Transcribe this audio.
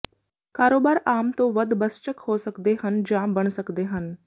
ਕਾਰੋਬਾਰ ਆਮ ਤੋਂ ਵੱਧ ਬੱਸਚੱਕ ਹੋ ਸਕਦੇ ਹਨ ਜਾਂ ਬਣ ਸਕਦੇ ਹਨ